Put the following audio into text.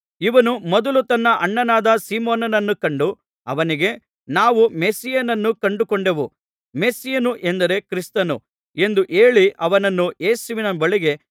ಇವನು ಮೊದಲು ತನ್ನ ಅಣ್ಣನಾದ ಸೀಮೋನನನ್ನು ಕಂಡು ಅವನಿಗೆ ನಾವು ಮೆಸ್ಸೀಯನನ್ನು ಕಂಡುಕೊಂಡೆವು ಮೆಸ್ಸೀಯನು ಎಂದರೆ ಕ್ರಿಸ್ತನು ಎಂದು ಹೇಳಿ